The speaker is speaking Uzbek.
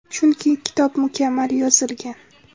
Chunki kitob mukammal yozilgan.